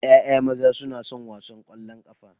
ƴaƴa maza na son wasan kwallon kafa.